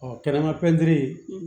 Ɔ kɛnɛma pɛntiri